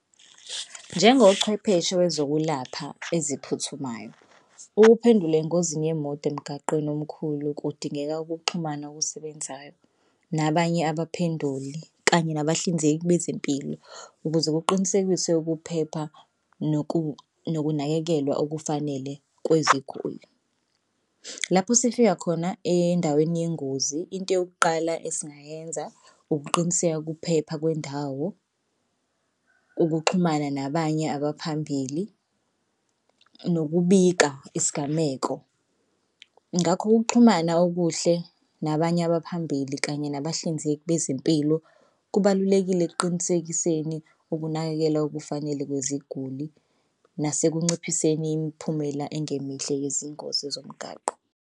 Njengochwepheshe wezokulapha eziphuthumayo ukuphendule engozini yemoto emgwaqeni omkhulu kudingeka ukuxhumana okusebenzayo nabanye abaphenduli kanye nabahlinzeki bezempilo ukuze kuqinisekiswe ukuphepha nokunakekelwa okufanele kweziguli. Lapho sifika khona endaweni yengozi into yokuqala esingayenza ukuqiniseka ukuphepha kwendawo, ukuxhumana nabanye abaphambili, nokubika isigameko. Ngakho ukuxhumana okuhle nabanye abaphambili kanye nabahlinzeki bezempilo kubalulekile ekuqinisekiseni ukunakekela okufanele kweziguli nasekunciphiseni imiphumela engemihle yezingozi zomgaqo.